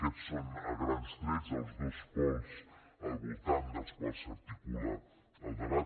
aquests són a grans trets els dos pols al voltant dels quals s’articula el debat